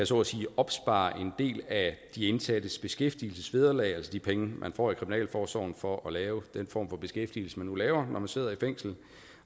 så at sige kan opspare en del af de indsattes beskæftigelsesvederlag altså de penge man får i kriminalforsorgen for at lave den form for beskæftigelse man nu laver når man sidder i fængsel